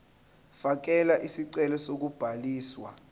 fakela isicelo sokubhaliswa